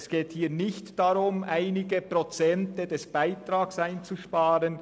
Es geht nicht darum, einige Prozente des Beitrags einzusparen.